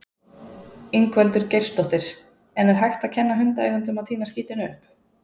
Ingveldur Geirsdóttir: En er hægt að kenna hundaeigendum að tína skítinn upp?